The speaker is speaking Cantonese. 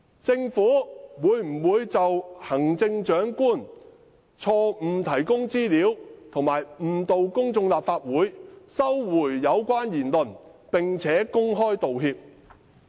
政府會否就行政長官錯誤提供資料及誤導公眾和立法會，收回有關言論，並且公開道歉？